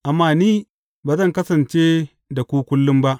Amma ni ba zan kasance da ku kullum ba.